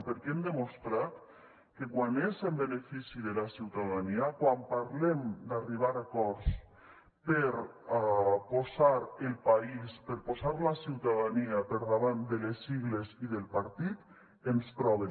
perquè hem demostrat que quan és en benefici de la ciutadania quan parlem d’arribar a acords per posar el país per posar la ciutadania per davant de les sigles i del partit ens troben